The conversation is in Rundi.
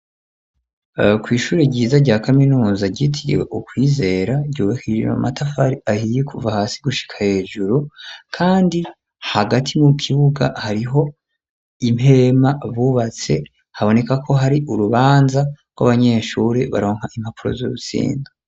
ku ishuri ryiza rya kaminuza ryitiriwe Ukwizera ryubakishije amatafari ahiye kuva hasi gushika hejuru kandi hagati mu kibuga hariho impema bubatse habonekako hari urubanza rw'abanyeshuri baronka impapuro z'urutsindo.